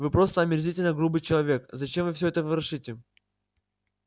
вы просто омерзительно грубый человек зачем вы всё это ворошите